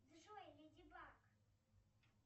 джой леди баг